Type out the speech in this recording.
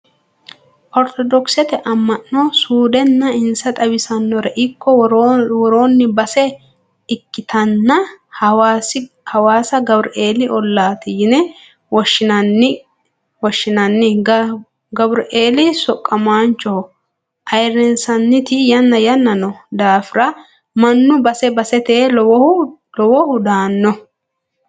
Orthodokisete ama'no suudenna insa xawisanorikko woronni base ikkittanna hawaasa Gabureli ollati yine woshshinanni gabureli Soqamancho ayirrinsanniti yanna yanna no daafira mannu base basete lowohu daano.